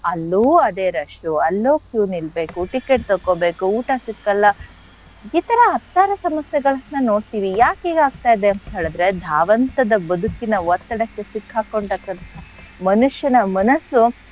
ಅಲ್ಲೂ ಅದೇ rush ಉ ಅಲ್ಲೂ queue ನಿಲ್ಬೇಕು ticket ತಕೊಬೇಕು ಊಟ ಸಿಕ್ಕಲ್ಲ ಈ ತರ ಹತ್ತಾರು ಸಮಸ್ಯೆಗಳನ್ನ ನೋಡ್ತಿವಿ ಯಾಕೆ ಹೀಗ್ ಆಗ್ತಾ ಇದೆ ಅಂತ್ ಹೇಳಿದ್ರೆ ಧಾವಂತದ ಬದುಕಿನ ಒತ್ತಡಕ್ಕೆ ಸಿಕ್ಹಾಕೊಂಡಂಥ ಮನುಷ್ಯನ ಮನಸ್ಸು,